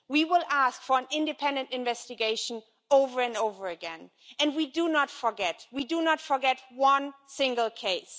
We will ask for an independent investigation over and over again, and we do not forget one single case.